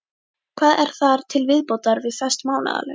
Hvað er þar til viðbótar við föst mánaðarlaun?